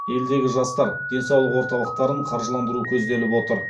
елдегі жастар денсаулық орталықтарын қаржыландыру көзделіп отыр